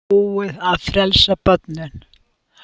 Búið að frelsa börnin